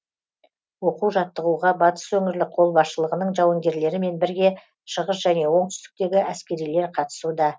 оқу жаттығуға батыс өңірлік қолбасшылығының жауынгерлерімен бірге шығыс және оңтүстіктегі әскерилер қатысуда